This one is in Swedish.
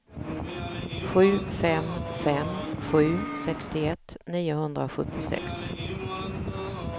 sju fem fem sju sextioett niohundrasjuttiosex